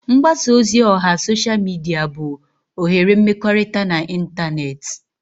Mgbasa ozi oha sosha mịdịa bụ oghere mmekọrịta na ịntanetị.